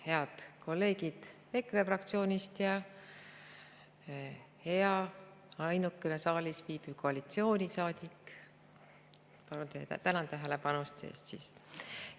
Head kolleegid EKRE fraktsioonist ja ainuke saalis viibiv koalitsioonisaadik, tänan tähelepanu eest!